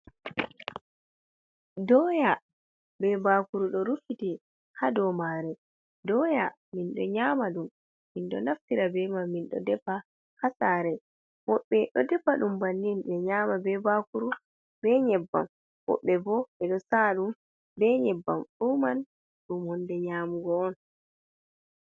Doya be bakru ɗo rufiti ha dow mai, doya minɗo nyama ɗum ɗo naftira be majum ɗo defa ha saare, woɓɓe ɗo defa ɗum banni ɓe nyama be bakuru be nyebbam, woɓɓe ɗo saa ɗum be nyebbam, fu mai ni hunde nyamugo on.